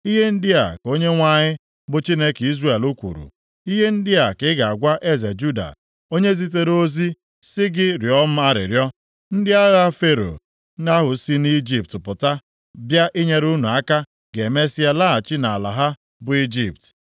“Ihe ndị a ka Onyenwe anyị bụ Chineke Izrel kwuru, Ihe ndị a ka ị ga-agwa eze Juda onye zitere ozi sị gị rịọọ m arịrịọ, ‘Ndị agha Fero ahụ si nʼIjipt pụta bịa inyere unu aka ga-emesịa laghachi nʼala ha bụ Ijipt.